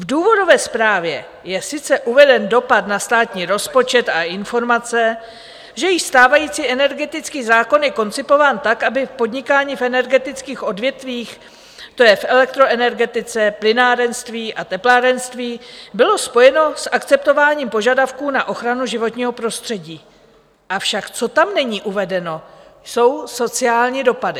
V důvodové zprávě je sice uveden dopad na státní rozpočet a informace, že již stávající energetický zákon je koncipován tak, aby podnikání v energetických odvětvích, to je v elektroenergetice, plynárenství a teplárenství, bylo spojeno s akceptováním požadavků na ochranu životního prostředí, avšak co tam není uvedeno, jsou sociální dopady.